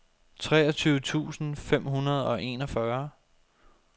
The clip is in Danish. treogtyve tusind fem hundrede og enogfyrre